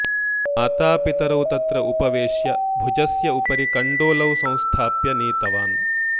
मातापितरौ तत्र उपवेश्य भुजस्य उपरि कण्डोलौ संस्थाप्य नीतवान्